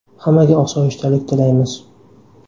Hammaga osoyishtalik tilaymiz.